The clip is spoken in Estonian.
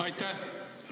Aitäh!